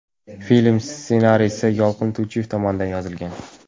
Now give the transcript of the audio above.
Film ssenariysi Yolqin To‘ychiyev tomonidan yozilgan.